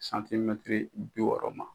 bi yɔɔrɔ ma.